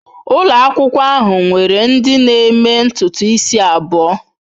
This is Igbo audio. Ụlọ akwụkwọ ahụ nwere ndị na-eme ntutu isi abụọ.